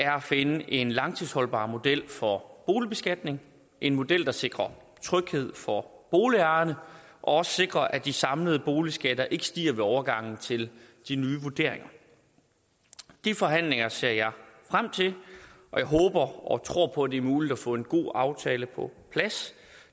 finde en langtidsholdbar model for boligbeskatning en model der sikrer tryghed for boligejerne og også sikrer at de samlede boligskatter ikke stiger ved overgangen til de nye vurderinger de forhandlinger ser jeg frem til og jeg håber og tror på det er muligt at få en god aftale på plads